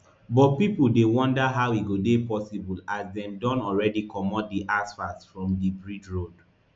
but pipo dey wonder how e go dey possible as dem don already comot di asphalt from di bridge road